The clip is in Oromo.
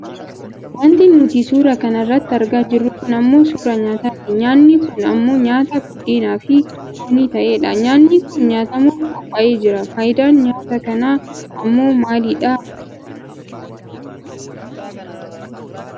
Wanti nuti suura kana irratti argaa jirru kun ammoo suuraa nyaataati. Nyaanni kun ammoo nyaata buddeeniifi foonii ta'ee dha. Nyaanni kun nyaatamuuf qophaa'ee jira. Fayidaan nyaata kanaa ammoo maali dha?